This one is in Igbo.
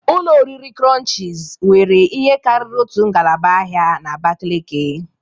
Ụlọ oriri krọnchiz were ihe karịrị otu ngalaba ahịa n'Abakeleke.